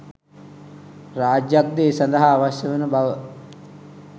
රාජ්‍යයක්ද ඒ සඳහා අවශ්‍ය වන බව